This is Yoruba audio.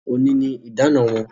Òní ni idana wọn